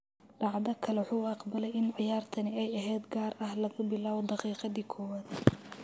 "Dhacdo kale, wuxuu aqbalay in ciyaartani ay ahayd gaar ah laga bilaabo daqiiqadii 1-aad."